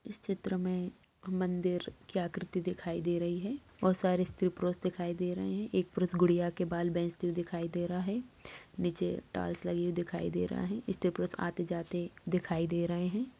इस चित्र में मंदिर की आकृति दिखाई दे रही है और सारे स्त्री पुरुष दिखाई दे रहे हैं एक पुरुष गुड़ियाॅं के बाल बेंचते हुए दिखाई दे रहा हैं नीचे टाइल्स लगी हुई दिखाई दे रहा है स्त्री पुरुष आते जाते दिखाई दे रहे हैं।